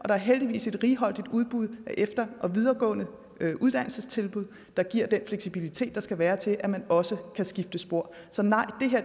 er heldigvis et righoldigt udbud af efter og videregående uddannelsestilbud der giver den fleksibilitet der skal være til at man også kan skifte spor så nej